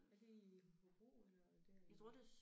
Er det i Hobro eller der i